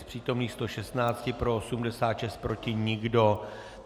Z přítomných 116 pro 86, proti nikdo.